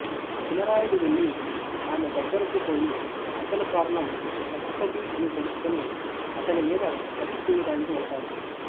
చినరాయుడు వెళ్ళి ఆమె దగ్గరకు పోయి అసలు కారణం పశుపతి అని తెలుసుకుని అతని మీద కత్తిదూయడానికి వెళతాడు